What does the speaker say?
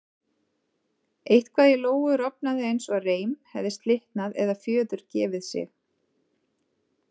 Eitthvað í Lóu rofnaði eins og reim hefði slitnað eða fjöður gefið sig.